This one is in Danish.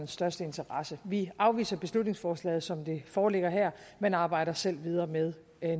største interesse vi afviser beslutningsforslaget som det foreligger her man arbejder selv videre med